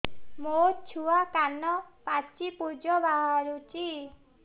ମୋ ଛୁଆ କାନ ପାଚି ପୂଜ ବାହାରୁଚି